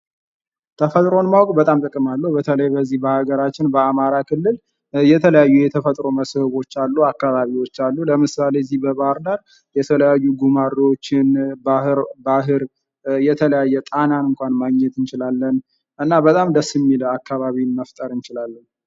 ተፈጥሮን ማወቅ በጣም ጥቅማለሁ ፤ በተለይ በዚህ በሀገራችን በአማራ ክልል የተለያዩ የተፈጥሮ መስህቦች አሉ፥ አካባቢዎች አሉ፥ ለምሳሌ በዚህ በባህር ዳር የተለያዩ ጉማሬዎችን፥ ባህር፥ እና ጣናን ማግኘት እንችላለን እና በጣም ደስ የሚል አካባቢን መፍጠር እንችላለን።